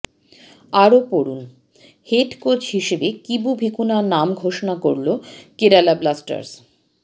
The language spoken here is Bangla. আরও পড়ুনঃহেড কোচ হিসেবে কিবু ভিকুনার নাম ঘোষণা করল কেরালা ব্লাস্টার্স